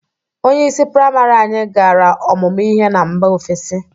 Onyeisi prịamarị anyị gara ọmụmụ ihe na mba ofesi.